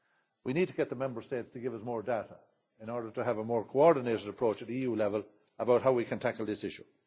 We need to get the Member States to give us more data in order to have a more coordinated approach at EU level on how we can tackle this issue.